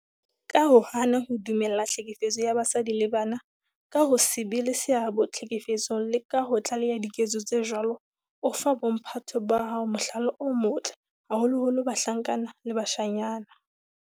Ka ho hana ho dumella tlhekefetso ya basadi le bana, ka ho se be le seabo tlhekefetsong le ka ho tlaleha diketso tse jwalo, o fa bo mphato ba hao mohlala o motle, haholoholo bahlankana le bashanyana.